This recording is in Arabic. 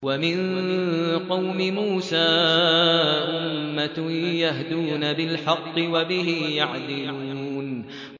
وَمِن قَوْمِ مُوسَىٰ أُمَّةٌ يَهْدُونَ بِالْحَقِّ وَبِهِ يَعْدِلُونَ